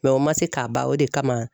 o ma se k'a ban o de kama.